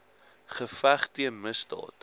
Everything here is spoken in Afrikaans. geveg teen misdaad